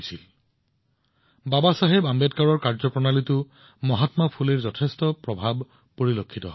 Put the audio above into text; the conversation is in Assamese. আমি বাবাচাহেব আম্বেদকাৰৰ কামত মহাত্মা ফুলেৰ প্ৰভাৱ স্পষ্টভাৱে দেখিবলৈ পাওঁ